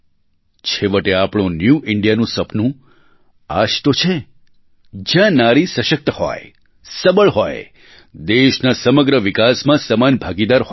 છેવટે આપણું ન્યૂ Indiaનું સપનું આ જ તો છે જ્યાં નારી સશક્ત હોય સબળ હોય દેશના સમગ્ર વિકાસમાં સમાન ભાગીદાર હોય